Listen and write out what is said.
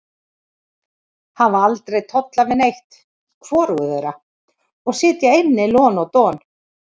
Hafa aldrei tollað við neitt, hvorugur þeirra, og sitja inni lon og don.